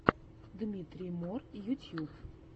дмитрий мор ютьюб